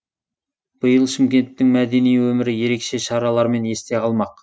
биыл шымкенттің мәдени өмірі ерекше шаралармен есте қалмақ